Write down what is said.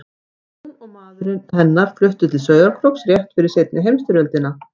Hún og maður hennar fluttu til Sauðárkróks rétt fyrir seinni heimsstyrjöldina.